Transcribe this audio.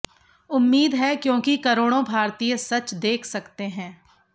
उम्मीद है क्योंकि करोड़ों भारतीय सच देख सकते हैं